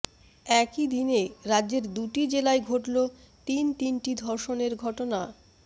একই দিনে রাজ্যের দুটি জেলায় ঘটল তিন তিনটি ধর্ষণের ঘটনা